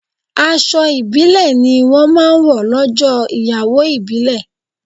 Aṣọ ibile ni wọn máa ń wọ lọ́jọ́ ìyàwó ìbílè